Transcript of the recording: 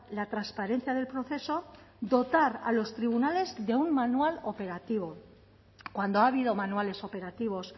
la transparencia del proceso dotar a los tribunales de un manual operativo cuando ha habido manuales operativos